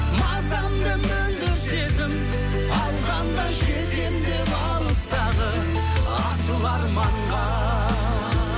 мазамды мөлдір сезім алғанда жетемін деп алыстағы асыл арманға